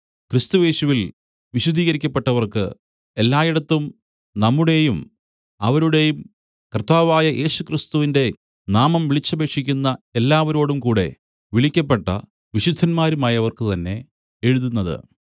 ക്രിസ്തുയേശുവിൽ വിശുദ്ധീകരിക്കപ്പെട്ടവർക്ക് എല്ലായിടത്തും നമ്മുടെയും അവരുടെയും കർത്താവായ യേശുക്രിസ്തുവിന്റെ നാമം വിളിച്ചപേക്ഷിക്കുന്ന എല്ലാവരോടുംകൂടെ വിളിക്കപ്പെട്ട വിശുദ്ധന്മാരുമായവർക്ക് തന്നെ എഴുതുന്നത്